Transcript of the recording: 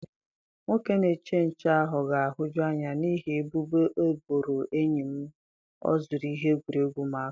Nwoke na-eche nche ahụ ga-ahụju anya n'ihi ebubo ọ boro enyi m na o zuru ihe egwuregwu ụmụaka.